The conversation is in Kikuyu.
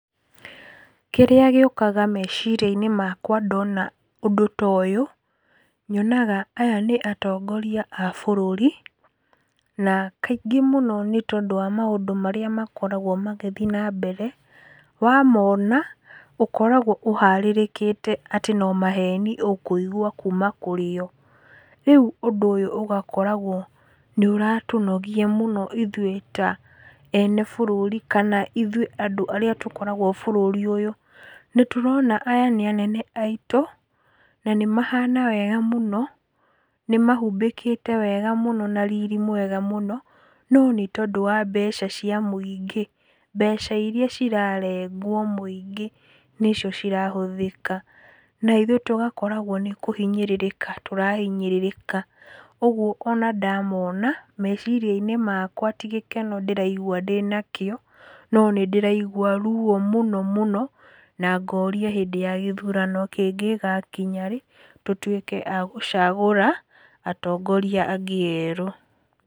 Kĩrĩa gĩũkaga meciria-inĩ makwa ndona ũndũ ta ũyũ, nyonaga, aya nĩ atongoria a bũrũri na kaingĩ mũno nĩ tondũ wa maũndũ marĩa makoragwo magĩthiĩ na mbere, wa mona, ũkoragwo ũharĩrĩkĩte atĩ no maheni ũkũigua kuma kũrĩ o. Rĩu ũndũ ũyũ ũgakoragwo nĩ ũratũnogia ithuĩ ta ene bũrũri kana ithuĩ andũ arĩa tũkoragwo bũrũri ũyũ. Nĩ tũrona aya nĩ anene aitũ na nĩ mahana wega mũno, nĩ mahumbĩkĩte wega mũno na riri mwega mũno, no nĩ tondũ wa mbeca cia mũingĩ, mbeca iria cirarengwo mũingĩ, nĩ cio cirahũthĩka na ithuĩ tũgakorwo nĩ kũhinyĩrĩrĩka tũrahinyĩrĩka , ũguo ona ndamona meciria-inĩ makwa tĩ gĩkeno ndĩraigwa ndĩnakĩo, no nĩ ndĩraigua ruo mũno mũno na ngoria hĩndĩ ya gĩthurano kĩngĩ gĩgakinya rĩ tũtuĩke a gũcagũra atongoria angĩ erũ.